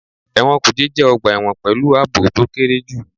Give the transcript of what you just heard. Ẹ̀wọ̀n kùjé jẹ́ ọgbà ẹ̀wọ̀n pẹ̀lú àbò to kéré jù.